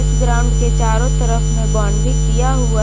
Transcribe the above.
इस ग्राउंड के चारों तरफ में बाउंड्री किया हुआ है।